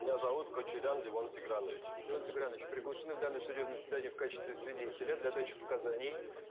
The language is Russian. меня зовут кочарян левон тигранович левон тигранович приглашены в данное судебное заседание в качестве свидетеля для дачи показаний